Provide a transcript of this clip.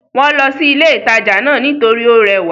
Wọ́n lọ sí ilé ìtajà náà nítorí ó rẹwà